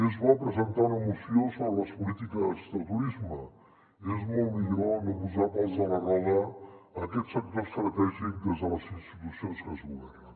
és bo presentar una moció sobre les polítiques de turisme és molt millor no posar pals a la roda a aquest sector estratègic des de les institucions que es governen